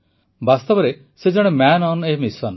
ବାସ୍ତବରେ ସେ ଜଣେ ମ୍ୟାନ ଅନ୍ ଏ ମିଶନ୍